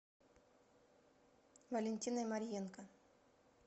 валентиной марьенко